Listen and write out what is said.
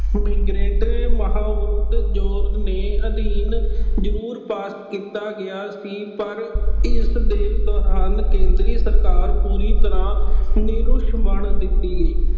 ਦੇ ਅਧੀਨ ਜ਼ਰੂਰ pass ਕੀਤਾ ਗਿਆ ਸੀ ਪਰ ਇਸਦੇ ਦੌਰਾਨ ਕੇਂਦਰੀ ਸਰਕਾਰ ਪੂਰੀ ਤਰ੍ਹਾਂ ਨਿਰੁਸ਼ਮਣ ਦੇਖੀ ਗਈ।